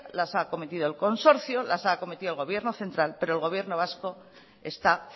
las ha acometido el consorcio las ha acometido el gobierno central pero el gobierno vasco está